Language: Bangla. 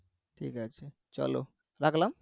ঠিক আছে চলো রাখলাম